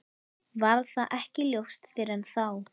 Varð það ekki ljóst fyrr en þá.